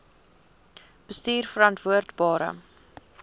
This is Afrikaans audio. bestuurverantwoordbare